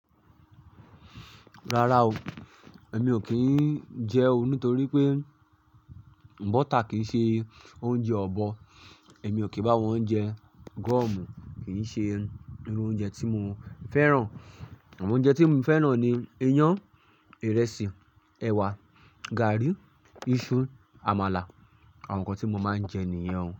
Rárá o, èmi ò kí n jẹe oo nítorí pé bọ́tà kìí ṣe oúnjẹ ọ̀bọ. Èmi ò kì bá wọn jẹ, gọ́ọ̀mù kì í ṣe irú oúnjẹ tí mo fẹ́ràn. Àmọo oúnjẹ tí mo fẹ́ràn ni iyán, ìrẹsì, ẹ̀wà, gààrí, iṣu, àmàlà. Àwọn nǹkan tí mo máa ń jẹ nìyẹn.